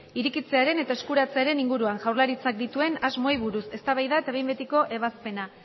irekitzearen eta eskuratzearen inguruan jaurlaritzak dituen asmoei buruz eztabaida eta behin betiko ebazpena